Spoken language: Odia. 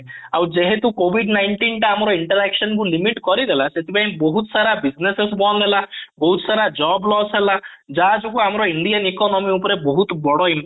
ଆଉ ଯେହେତୁ covid nineteen ଟା ଆମର interaction କୁ limit କରିଦେଲା ସେଥିପାଇଁ ବହୁତ ସାରା businesses ବନ୍ଦ ହେଲା ବହୁତ ସାରା job loss ହେଲା ତା ଯୋଗୁ ଆମର indian economy ଉପରେ ବହୁତ ବଡ impact